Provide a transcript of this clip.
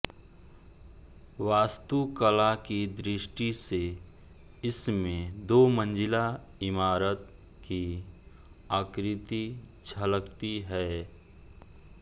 वास्तुकला की दृष्टि से इसमें दो मंजिला इमारत की आकृति झलकती है